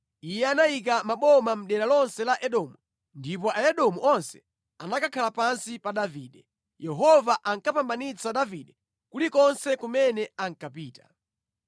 Iye anayika maboma mʼdera lonse la Edomu, ndipo Aedomu onse anakhala pansi pa Davide. Yehova ankapambanitsa Davide kulikonse kumene ankapita.